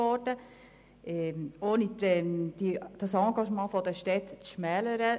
Wir wollen das Engagement der Städte nicht abwerten.